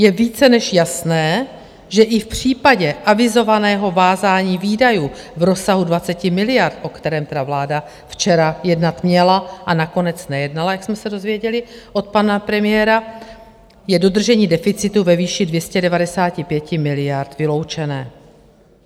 Je více než jasné, že i v případě avizovaného vázání výdajů v rozsahu 20 miliard, o kterém tedy vláda včera jednat měla a nakonec nejednala, jak jsme se dozvěděli od pana premiéra, je dodržení deficitu ve výši 295 miliard vyloučené.